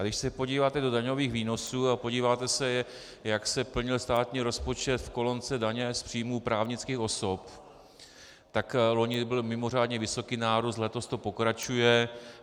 A když se podíváte do daňových výnosů a podíváte se, jak se plnil státní rozpočet v kolonce daně z příjmů právnických osob, tak loni byl mimořádně vysoký nárůst, letos to pokračuje.